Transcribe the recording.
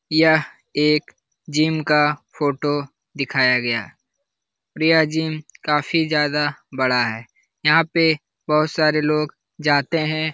यह एक जिम का फोटो दिखाया गया है। यह जिम काफी ज्यादा बड़ा है। यहाँ पे बहोत सारे लोग जाते हैं ।